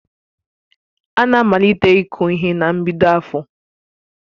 Ana amalite iku ihe na mbido afọ